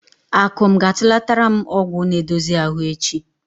Akụm ga-atụlatara m ọgwụ na-edozi ahụ echi.